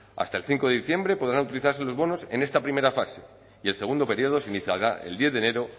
hasta el cinco de diciembre podrán utilizarse los bonos en esta primera fase y el segundo período se iniciará el diez de enero